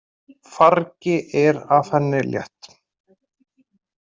Fargi er af henni létt.